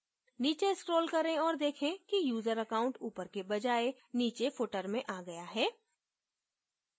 नीचे scroll करें और देखें कि user account ऊपर के बजाय नीचे footer में आ गया है